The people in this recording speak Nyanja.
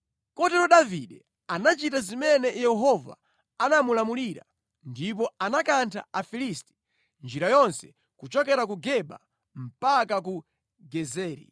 Kotero Davide anachita zimene Yehova anamulamulira ndipo anakantha Afilisti njira yonse kuchokera ku Geba mpaka ku Gezeri.